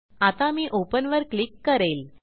आता मी ओपन वर क्लिक करेल